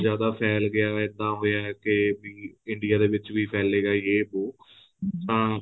ਇੰਨਾਂ ਜਿਆਦਾ ਫ਼ੈਲ ਗਿਆ ਇਹਦਾ ਹੋਇਆ ਕੇ ਵੀ India ਦੇ ਵਿੱਚ ਵੀ ਫੈਲੇਗਾ ਜ਼ੇ ਵੋ ਤਾਂ